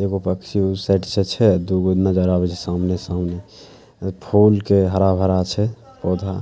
एगो पक्षी उ साइड से छै दू गो नजर आवै छै। सामने-सामने फोल के हरा-भरा छै। पौधा